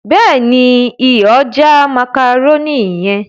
béèni iyọ̀ já macaroni yen.